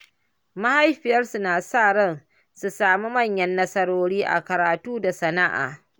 Mahaifiyarsu na sa ran su sami manyan nasarori a karatu da sana’a.